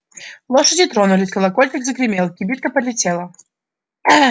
лошади тронулись колокольчик загремел кибитка полетела